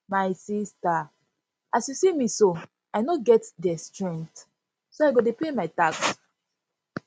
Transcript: my sister as you see me so i no get their strength so i go dey pay my tax